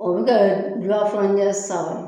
O bɛ ka bula fana ɲɛ sisan.